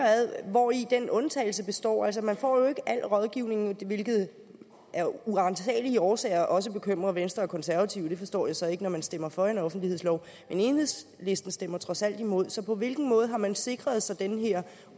hvori den undtagelse består altså man får jo ikke al rådgivningen hvilket af uransagelige årsager også bekymrer venstre og konservative og det forstår jeg så ikke når man stemmer for en offentlighedslov men enhedslisten stemmer trods alt imod så på hvilken måde har man sikret sig den her